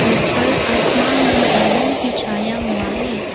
ऊपर आसमान में बादल भी छाया हुआ है।